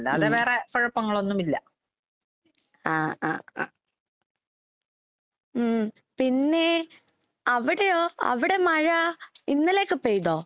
ഉം ആഹ് അഹ് അഹ്. ഉം പിന്നേ അവടെയോ അവടെ മഴ ഇന്നലെയൊക്കെ പെയ്‌തോ?